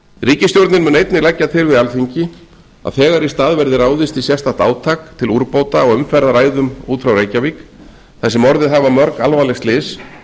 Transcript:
ríkisstjórnin mun einnig leggja til við alþingi að þegar í stað verði ráðist í sérstakt átak til úrbóta á umferðaræðum út frá reykjavík þar sem orðið hafa mörg alvarleg slys